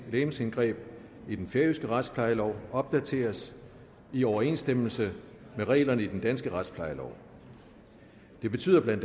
legemsindgreb i den færøske retsplejelov opdateres i overensstemmelse med reglerne i den danske retsplejelov det betyder bla